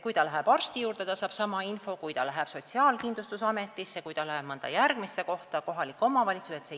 Kui ta läheb arsti juurde, siis ta saab sama info kui SKA-s või mõnes järgmises kohas, näiteks kohalikus omavalitsuses.